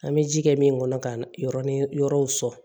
An bɛ ji kɛ min kɔnɔ ka na yɔrɔnin yɔrɔw sɔrɔ